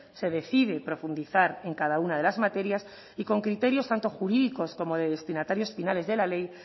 se decide profundizar en cada una de las materias y con criterios tanto jurídicos como de destinatarios finales de la ley